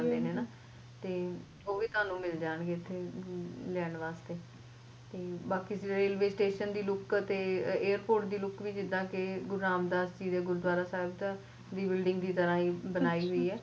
ਤੇ ਓਹ ਵੀ ਤੁਹਾਨੂੰ ਮਿਲਣਗੇ ਏਥੋਂ ਲੈਣ ਵਾਸਤੇ ਤੇ ਬਾਕੀ raliway station ਦੀ look airport ਦੀ look ਜਿੱਦਾ ਕਿ ਗੁਰੂ ਰਾਮਦਾਸ ਜੀ ਦੇ ਗੁਰੂਦਵਾਰਾ ਸਾਹਿਬ ਦਾ building ਦੀ ਤਰ੍ਹਾ ਬਣਾਈ ਹੋਈ ਏ